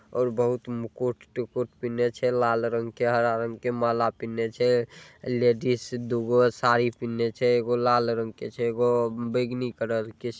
और बहुत मुकुट-टुकुत पीन्हले छै लाल रंग के हरा रंग के माला पीन्हले छै लेडिस दुगो साड़ी पीन्हले छै एगो लाल रंग के छै एगो बैगनी कलर के छै।